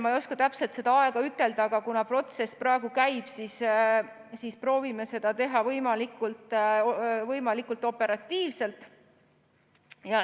Ma ei oska täpselt seda aega ütelda, kuna protsess praegu käib, aga proovime seda teha võimalikult operatiivselt.